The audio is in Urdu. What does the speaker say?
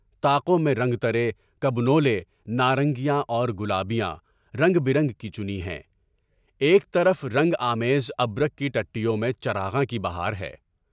طاقوں میں رنگترے، کبنولے، نارنگیاں اور گلابیاں، رنگ برنگ کی چُنی ہیں، ایک طرف رنگ آمیز ابرک کی ٹٹیوں میں چراغاں کی بہار ہے۔